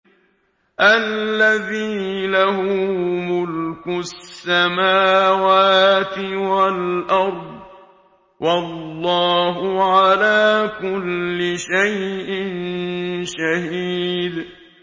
الَّذِي لَهُ مُلْكُ السَّمَاوَاتِ وَالْأَرْضِ ۚ وَاللَّهُ عَلَىٰ كُلِّ شَيْءٍ شَهِيدٌ